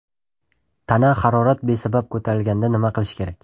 Tana harorat besabab ko‘tarilganda nima qilish kerak?